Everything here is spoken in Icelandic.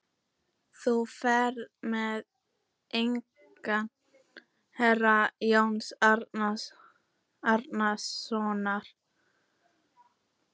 Þú ferð með eignir herra Jóns Arasonar.